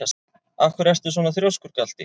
Af hverju ertu svona þrjóskur, Galti?